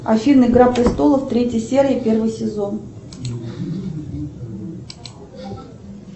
афина игра престолов третья серия первый сезон